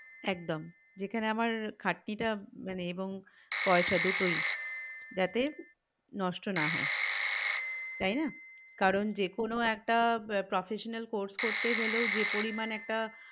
একদম যেখানে আমার খাটনিটা মানে এবং পয়সা দুটোই যাতে নষ্ট না হয় তাই না কারণ যেকোনো একটা professional course করতে গেলেও যে পরিমান একটা